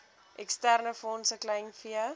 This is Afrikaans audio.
eksterne fondse kleinvee